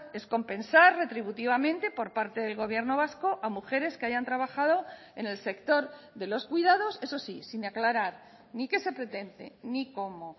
es compensar retributivamente por parte del gobierno vasco a mujeres que hayan trabajado en el sector de los cuidados eso sí sin aclarar ni qué se pretende ni cómo